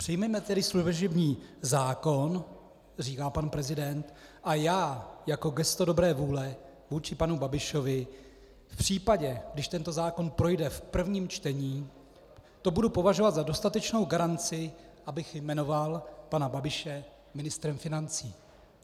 " Přijměme tedy služební zákon," říká pan president, "a já, jako gesto dobré vůle vůči panu Babišovi, v případě, když tento zákon projde v prvním čtení, to budu považovat za dostatečnou garanci, abych jmenoval pana Babiše ministrem financí."